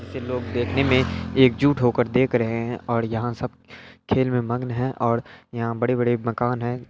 ये लोग देखने मे एक जुट हो कर देख रहे है और यहाँ सब खेल मे मग्न है और यहाँ बड़े बड़े मकान हैं।